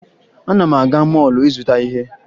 Ana m aga mọọlụ ịzụta ihe